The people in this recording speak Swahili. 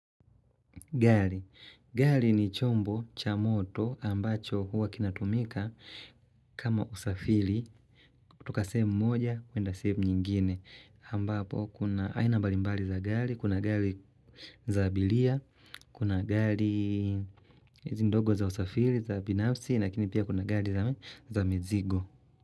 Gari. Gari ni chombo cha moto ambacho huwa kinatumika kama usafiri. Toka sehem moja kuenda sehemu nyingine. Ambapo kuna aina mbalimbali za gari, kuna gari za abiria, kuna gari ndogo za usafiri za binafsi, lakini pia kuna gari la, za mizigo.